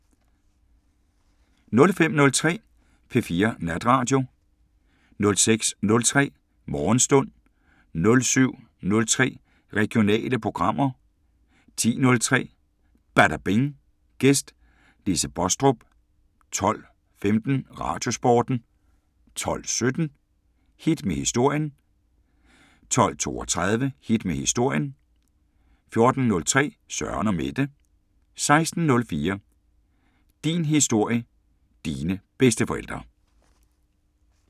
05:03: P4 Natradio 06:03: Morgenstund 07:03: Regionale programmer 10:03: Badabing: Gæst Lise Baastrup 12:15: Radiosporten 12:17: Hit med historien 12:32: Hit med historien 14:03: Søren & Mette 16:04: Din Historie – Dine bedsteforældre